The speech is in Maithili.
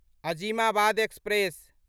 अजीमाबाद एक्सप्रेस